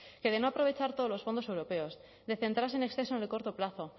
que de no aprovechar todos los fondos europeos de centrarse en exceso en el corto plazo